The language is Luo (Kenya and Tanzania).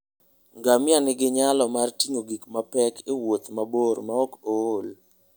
Ngamia nigi nyalo mar ting'o gik mapek e wuoth mabor maok ool.